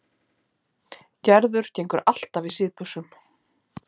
Gerður gengur alltaf í síðbuxum.